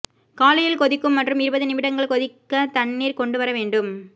காலையில் கொதிக்கும் மற்றும் இருபது நிமிடங்கள் கொதிக்க தண்ணீர் கொண்டுவர வேண்டும்